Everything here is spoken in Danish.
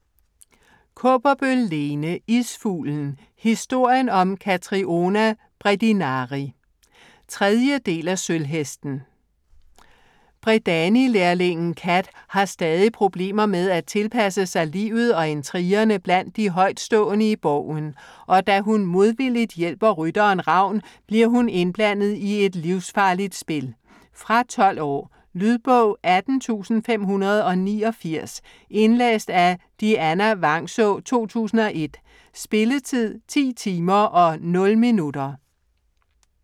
Kaaberbøl, Lene: Isfuglen: historien om Katriona Bredinari 3. del af Sølvhesten. Bredanilærlingen Kat har stadig problemer med at tilpasse sig livet og intrigerne blandt de højtstående i borgen, og da hun modvilligt hjælper rytteren Ravn bliver hun indblandet i et livsfarligt spil. Fra 12 år. Lydbog 18589 Indlæst af Dianna Vangsaa, 2001. Spilletid: 10 timer, 0 minutter.